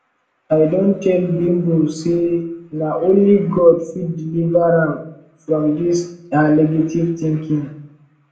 i don tell bimbo say na only god fit deliver am from dis her negative thinking